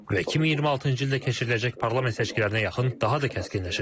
Və 2026-cı ildə keçiriləcək parlament seçkilərinə yaxın daha da kəskinləşəcək.